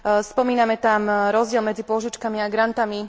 Spomíname tam rozdiel medzi pôžičkami a grantmi.